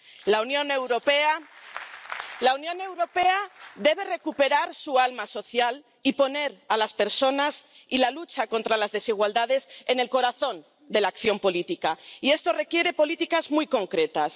La Unión Europea debe recuperar su alma social y poner a las personas y la lucha contra las desigualdades en el corazón de la acción política, y esto requiere políticas muy concretas.